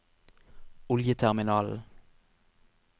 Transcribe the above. oljeterminalen